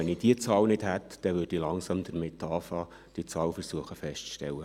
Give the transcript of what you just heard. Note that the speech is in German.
Wenn ich diese Zahl nicht hätte, würde ich langsam damit beginnen, diese Zahl feststellen zu versuchen.